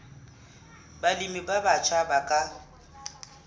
balemi ba batjha ba ka